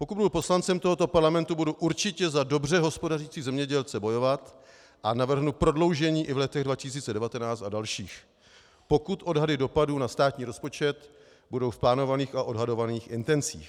Pokud budu poslancem tohoto parlamentu, budu určitě za dobře hospodařící zemědělce bojovat a navrhnu prodloužení i v letech 2019 a dalších, pokud odhady dopadů na státní rozpočet budou v plánovaných a odhadovaných intencích.